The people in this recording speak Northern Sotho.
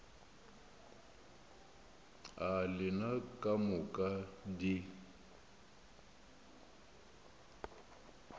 a lena ka moka di